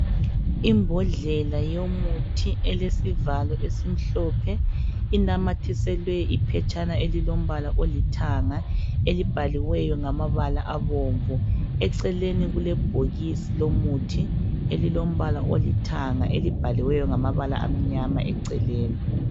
Imbodlela yomuthi elesivalo esimhlophe inamathiselwe iphetshana elilombala olithanga elibhaliweyo ngamabala abomvu. Eceleni kulebhokisi lomuthi elilombala olithanga elibhaliweyo ngamabala amnyama eceleni.